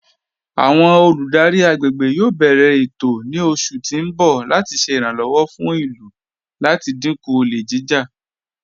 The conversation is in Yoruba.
Awọn olùdárí agbègbè yóò bẹ̀rẹ̀ ètò ní oṣù tí n bọ̀ láti ṣè iràǹlọ́wọ̀ fún ilú láti dínkú ọ̀lẹ̀ jijá.